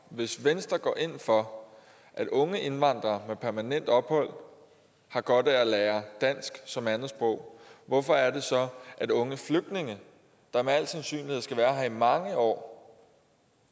hvis venstre går ind for at unge indvandrere med permanent ophold har godt af at lære dansk som andetsprog hvorfor er det så at unge flygtninge der med al sandsynlighed skal være her i mange år og